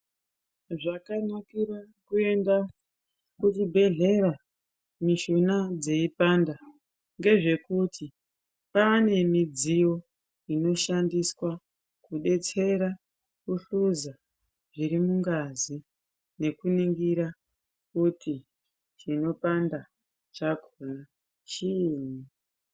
Zvakanakira kuenda kuchibhedhlera mushuna dzeipanda ngezvekuti kwaane midziyo inoshandiswa kudetsera kuhluza zviri mungazi nekuningira kuti chinopanda chakhona chiini.